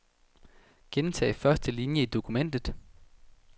Gentag første linie i dokumentet.